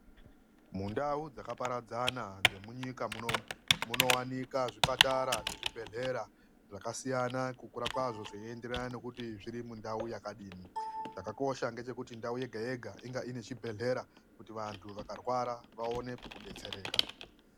Mundau dzakaparadzana dzemunyika munomu munowanika zvipatara nezvibhedhlera zvakasiyana ,kukura kwazvo zveienderana nekuti zvirimundau yakadini zvakakosha ngezvekuti ndau yega yega inga ngezvibhedhlera kuti antu akarwara vawone pekudetsereka.